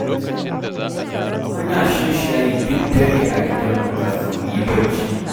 Muna shan shayi duk dare a gidanmu kafin muyi bacci